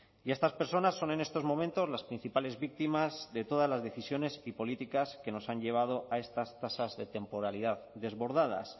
y estas personas son en estos momentos las principales víctimas de todas las decisiones y políticas que nos han llevado a estas tasas de temporalidad desbordadas